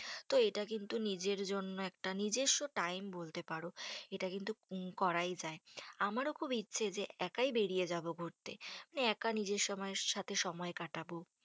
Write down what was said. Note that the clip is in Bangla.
তো এটা কিন্তু নিজের জন্য একটা নিজস্ব time বলতে পারো। এটা কিন্তু করাই যায়। আমারো খুব ইচ্ছে যে একাই বেরিয়ে যাবো ঘুরতে। একা নিজের সময় এর সাথে নিজে কাটাবো।